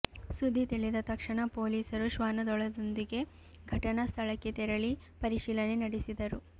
ಸುದ್ದಿ ತಿಳಿದ ತಕ್ಷಣ ಪೊಲೀಸರು ಶ್ವಾನದಳದೊಂದಿಗೆ ಘಟನಾ ಸ್ಥಳಕ್ಕೆ ತೆರಳಿ ಪರಿಶೀಲನೆ ನಡೆಸಿದರು